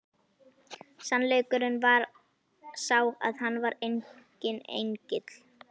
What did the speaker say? Sannleikurinn var sá að hann var enginn engill!